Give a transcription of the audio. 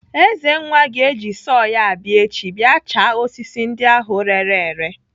Ezenwa ga-eji sọọ ya abịa echi bịa chaa osisi ndị ahụ reere ere.